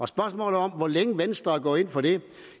spørgsmålet om hvor længe venstre er gået ind for det vil